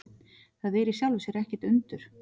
Það er í sjálfu sér ekkert undur.